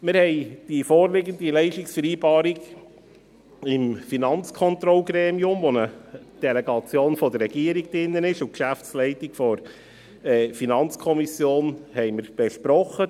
Wir haben die vorliegende Leistungsvereinbarung 2020–2023 im Finanzkontrollgremium, dem eine Delegation der Regierung angehört sowie die Geschäftsleitung der FiKo, besprochen.